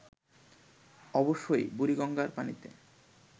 অবশ্যই বুড়িগঙ্গার পানিতে